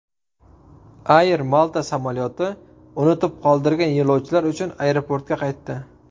Air Malta samolyoti unutib qoldirgan yo‘lovchilar uchun aeroportga qaytdi.